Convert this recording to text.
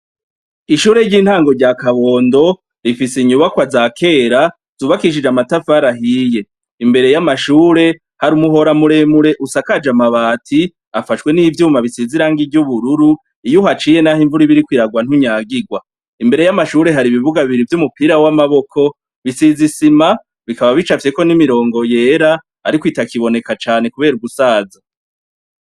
Ishure ry'itango rya Kabondo , rifise inyubakwa za kera zubakishijwe amatafari ahiye. Imbere yamashure, hari umuhora muremure usakaje amabati afashwe n'ivyuma bisize irangi ry'ubururu, iyuhaciye nahimvura iriko iragwa ntunyagirwa. Imbere y'amashure hari ibibuga bibiri vy'umupira w'amaboko , bisize isima , bikaba bicapfyeko n'imirongo yera ariko itakiboneka cane kubera gusaza.